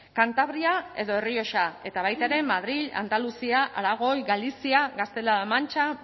kantabria edo errioxa eta baita ere madril andaluzia aragoi galizia gaztela la mantxa